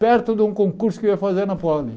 Perto de um concurso que eu ia fazer na Poli.